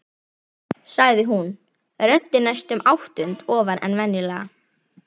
sagði hún, röddin næstum áttund ofar en venjulega.